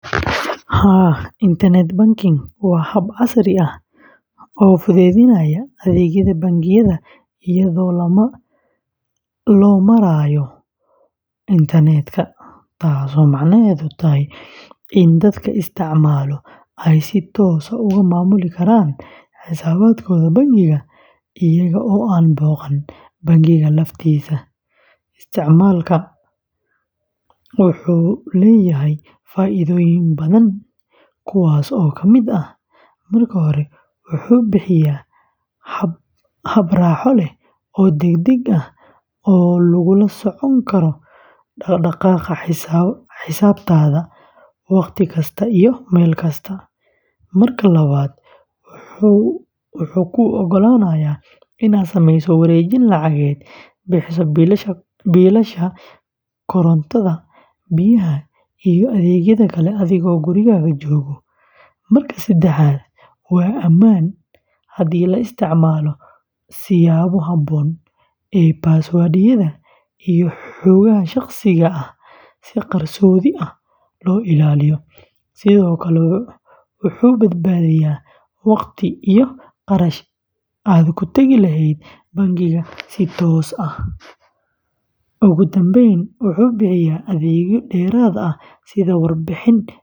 Haa, internet banking waa hab casri ah oo fududeynaya adeegyada bangiyada iyadoo loo marayo internet-ka, taas oo macnaheedu yahay in dadka isticmaala ay si toos ah uga maamuli karaan xisaabaadkooda bangiga iyaga oo aan booqan bangiga laftiisa. Isticmaalka wuxuu leeyahay faa’iidooyin badan, kuwaas oo ka mid ah: marka hore, wuxuu bixiyaa hab raaxo leh oo degdeg ah oo lagula socon karo dhaqdhaqaaqa xisaabtaada wakhti kasta iyo meel kasta; marka labaad, wuxuu kuu ogolaanayaa inaad samayso wareejin lacageed, bixiso biilasha korontada, biyaha, iyo adeegyada kale adigoo gurigaaga jooga; marka saddexaad, waa ammaan haddii la isticmaalo siyaabo habboon oo password-yada iyo xogaha shakhsiga ah si qarsoodi ah loo ilaaliyo; sidoo kale, wuxuu badbaadiyaa wakhti iyo kharash aad ku tagi lahayd bangiga si toos ah; ugu dambeyn, wuxuu bixiya adeegyo dheeraad ah sida warbixin xisaabeed joogto.